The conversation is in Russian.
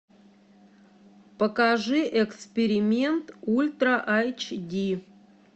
покажи эксперимент ультра айч ди